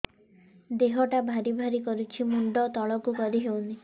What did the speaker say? ଦେହଟା ଭାରି ଭାରି କରୁଛି ମୁଣ୍ଡ ତଳକୁ କରି ହେଉନି